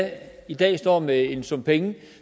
i dag står med en sum penge